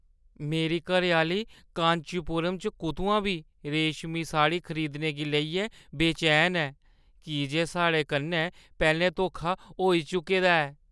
मेरी घरैआह्‌ली कांचीपुरम च कुतुआं बी रेशमी साड़ी खरीदने गी लेइयै बेचैन ऐ की जे साढ़े कन्नै पैह्‌लें धोखा होई चुके दा ऐ।